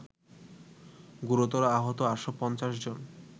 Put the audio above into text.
গুরুতর আহত ৮৫০ জন